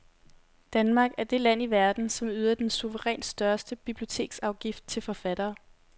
Danmark er det land i verden, som yder den suverænt største biblioteksafgift til forfattere.